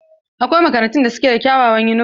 Akwai makarantun da suke da kyawawan yunifom.